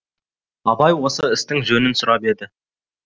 абай осы істің жөнін сұрап еді